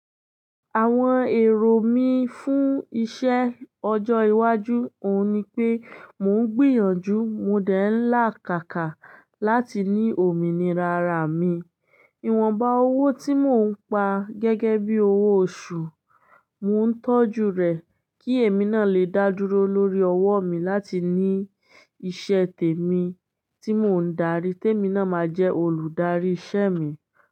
Àwọn èrò mí fún iṣẹ́ ọjọ́ iwájú òun ni pé mò ń gbìyànjú, mo dẹ̀ ń làkàkà láti ní òmìnira ara mi. Iwọnba owó tí mò ń pa gẹ́gẹ́ bí owó oṣù, mò ń tọ́jú rẹ̀ kí èmi náà lè dá dúró lórí ọwọ́ mi láti ní iṣẹ́ tèmi tí mò ń darí, tèmi náà máa jẹ́ olùdarí ìṣe mi.